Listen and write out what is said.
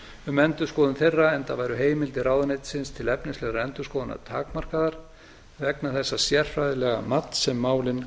um endurskoðun þeirra enda væru heimildir ráðuneytisins til efnislegrar endurskoðunar takmarkaðar vegna þessa sérfræðilega mats sem málin